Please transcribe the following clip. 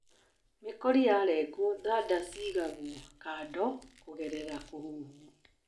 Mĩkori yalengwo thanda cigagwo kando kũgerera kũhuhwo.